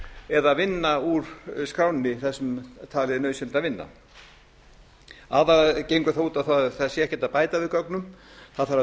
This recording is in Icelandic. eða vinna úr skránni það sem talið er nauðsynlegt að vinna aðallega gengur það út á það að það sé ekki hægt að bæta við gögnum það þarf að